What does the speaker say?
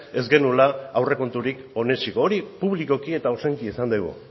ez genuela aurrekonturik onetsiko hori publikoki eta ozenki esan dugu